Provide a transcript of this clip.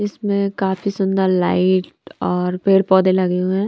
इसमें काफी सुंदर लाइट और पेड़ पौधे लगे हुए हैं।